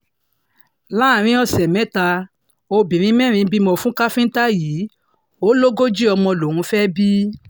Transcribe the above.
láàrin ọ̀sẹ̀ mẹ́ta obìnrin mẹ́rin bímọ fún káfíńtà yìí ò lógójì ọmọ lòún fẹ́ẹ́ bí